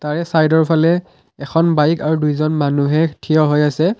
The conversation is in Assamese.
চাইডৰফালে এখন বাইক আৰু দুজন মানুহে থিয় হৈ আছে।